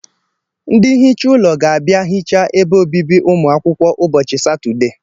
Ndị nhicha ụlọ ga-abịa hichaa ebe obibi ụmụ akwụkwọ ụbọchị Satọdee